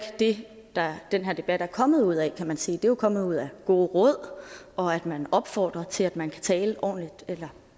det den her debat er kommet ud af kan man sige den er kommet ud af gode råd og at man opfordrer til at man kan tale ordentligt eller